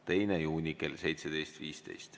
2. juuni kell 17.15.